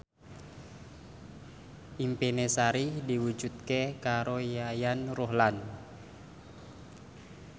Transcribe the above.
impine Sari diwujudke karo Yayan Ruhlan